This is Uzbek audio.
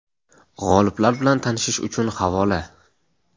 G‘oliblar bilan tanishish uchun havola.